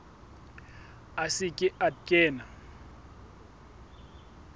a se ke a kena